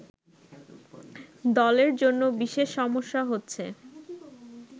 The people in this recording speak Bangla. দলের জন্য বিশেষ সমস্যা হচ্ছে